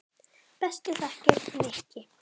Bestu þakkir, Nikki.